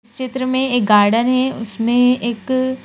चित्र में एक गार्डन है उसमें एक--